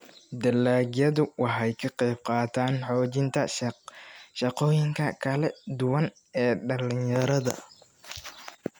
dalagyadu waxay ka qayb qaataan xoojinta shaqooyinka kala duwan ee dhalinyarada.